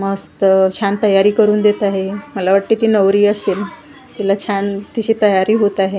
मस्त छान तयारी करून देत आहे मला वाटतंय की नवरी असेन तिला छान तिची तयारी होत आहे .